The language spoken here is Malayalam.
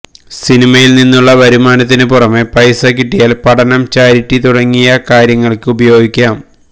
സിനിമയിൽ നിന്നുള്ള വരുമാനത്തിനു പുറമെ പൈസ കിട്ടിയാൽ പഠനം ചാരിറ്റി തുടങ്ങിയാ കാര്യങ്ങൾക്ക് ഉപയോഗിക്കാം